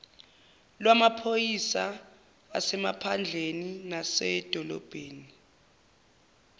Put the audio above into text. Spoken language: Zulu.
lwamaphoyisa asemaphandleni nasemadolobheni